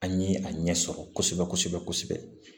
An ye a ɲɛ sɔrɔ kosɛbɛ kosɛbɛ kosɛbɛ kosɛbɛ